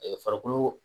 farikolo